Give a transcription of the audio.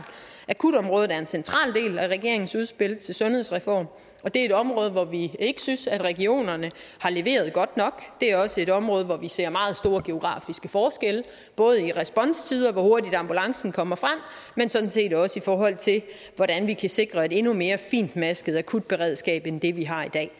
akutområdet er en central del af regeringens udspil til sundhedsreform og det er et område hvor vi ikke synes at regionerne har leveret godt nok det er også et område hvor vi ser meget store geografiske forskelle både i responstider altså hvor hurtigt ambulancen kommer frem men sådan set også i forhold til hvordan vi kan sikre et endnu mere fintmasket akutberedskab end det vi har i dag